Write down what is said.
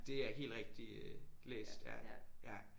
Det er helt rigtigt øh læst ja ja